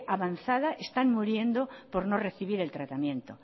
avanzada están muriendo por no recibir el tratamiento